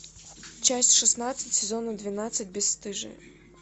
часть шестнадцать сезона двенадцать бесстыжие